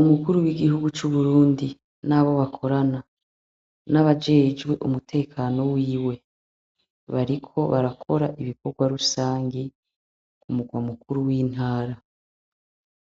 Umukuru w'igihugu c'u Burundi, nabo bakorana n'abajejwe umutekano wiwe, bariko barakora ibikorwa rusangi ku murwa mukuru w'intara